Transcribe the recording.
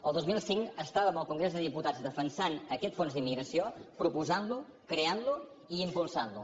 el dos mil cinc estàvem al congrés dels diputats defensant aquest fons d’immigració proposant lo creant lo i impulsant lo